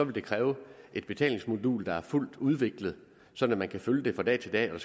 det kræve et betalingsmodul der er fuldt udviklet sådan at man kan følge det fra dag til dag og